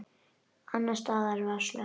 Annars staðar var slökkt.